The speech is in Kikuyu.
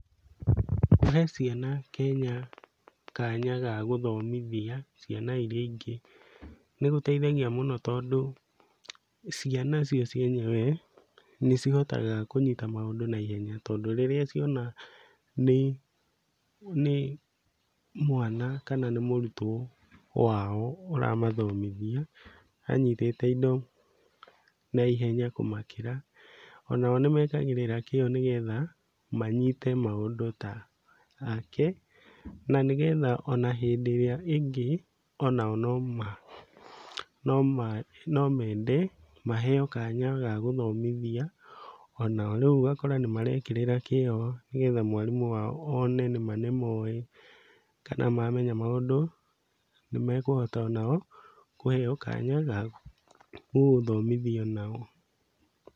Kũhe ciana Kenya kanya ga gũthomithia ciana iria ingĩ nĩgũteithagia mũno tondũ ciana cio cienyewe nĩcihotaga kũnyita maũndũ naihenya tondũ rĩrĩa ciona, nĩ nĩ mwana kana nĩ mũrutwo wao ũramũthomithia anyitĩte indo naihenya kũmakĩra, o nao nĩmekagĩrĩra kĩo nĩgetha manyite maũndũ take, ona nĩgetha ona hĩndĩ ĩrĩa ĩngĩ onao nomende maheo kanya ga gũthomithia o nao, rĩu ũgakora nĩmarekĩrĩra kĩo nĩgetha mwarimũ wao one nĩma nĩmo,ĩ kana mamenya maũndũ nĩmekũhota onao kũheo kanya ga gũthomithia o nao.